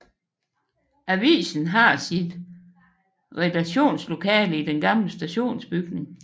Avisen har sit redaktionslokale i den gamle stationsbygning